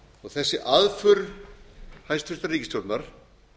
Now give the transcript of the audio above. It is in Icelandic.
og þessi aðför hæstvirtrar ríkisstjórnar